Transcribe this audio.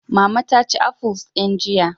Mama ta ci afuls din jiya.